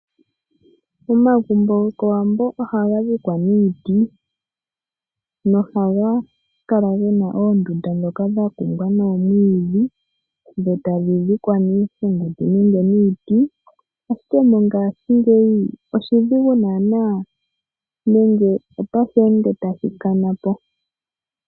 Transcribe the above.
Omagumbo gokOwambo ohaga dhikwa niiti nohaga kala ge na oondunda ndhoka dha kumbwa nomwiidhi, dho tadhi dhikwa niihenguti nenge niiti, ashike mongashingeyi oshidhigu naana nenge otasheende tashi kana po.